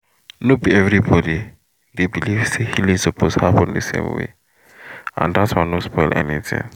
no be everybody dey believe say healing suppose happen the same way — and that one no spoil anything.